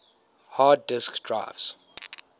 hard disk drives